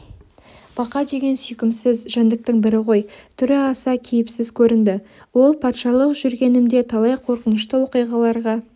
бақа деген сүйкімсіз жәндіктің бірі ғой түрі аса кейіпсіз көрінді ол патшалық жүргенімде талай қорқынышты оқиғаларға